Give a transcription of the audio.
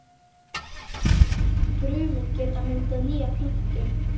Brumin geta myndað nýja plöntu.